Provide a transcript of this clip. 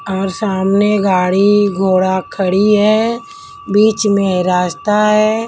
सामने गाड़ी घोड़ा खड़ी है बीच में रास्ता है।